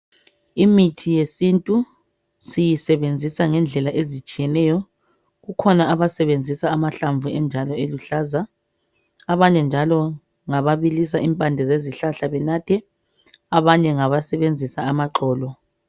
Imithi yesintu siyisebenzisa ngendlela ezitshiyeneyo. Kukhona abasebenzisa amahlamvu enjalo eluhlaza, abanye njalo ngababilisa impande zezihlahla benathe abanye ngabasebenzisa amaxolo.